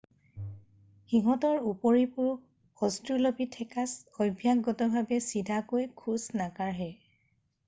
সিহঁতৰ উপৰিপুৰুষ অষ্ট্ৰেলোপিথেকাছ অভ্যাসগতভাৱে চিধাকৈ খোজ নাকাঢ়ে